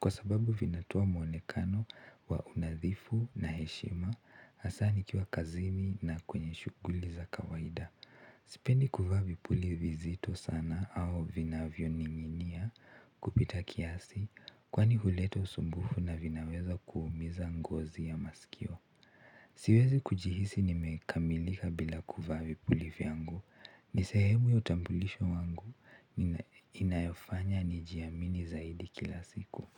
kwa sababu vinatoa mwonekana wa unadhifu na heshima hasa nikiwa kazini na kwenye shuguli za kawaida sipendi kuvaa vipuli vizito sana au vinavyo ninginia kupita kiasi kwani huleta usumbufu na vinaweza kuumiza ngozi ya masikio siwezi kujihisi nimekamilika bila kuvaa vipuli vyangu ni sehemu ya utambulisho wangu inayofanya nijiamini zaidi kila siku.